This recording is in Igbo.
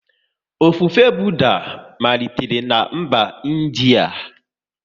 Ofufe Budha malitere na mba India